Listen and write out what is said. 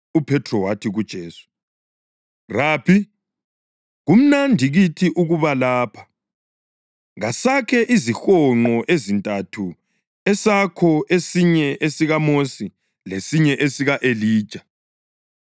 UPhethro wathi kuJesu, “Rabi, kumnandi kithi ukuba lapha. Kasakhe izihonqo ezintathu esakho, esinye esikaMosi lesinye esika-Elija.”